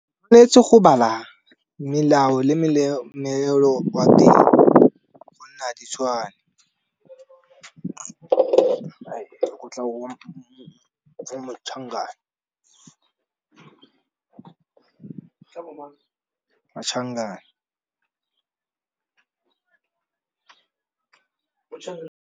Tshwanetse go bala melao le wa teng gonne a di tshwane go tla wa .